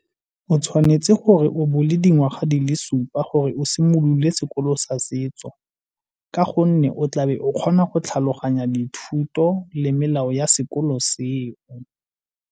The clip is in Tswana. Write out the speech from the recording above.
O tshwanetse gore o bo o le dingwaga di le supa gore o simolole sekolo sa setso ka gonne o tlabe o kgona go tlhaloganya dithuto le melao ya sekolo seo.